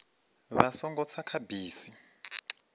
vha songo tsa kha bisi